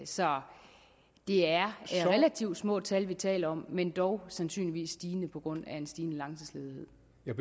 så det er relativt små tal vi taler om men dog sandsynligvis stigende på grund af en stigende langtidsledighed